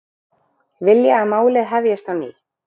Vilja að málið hefjist á ný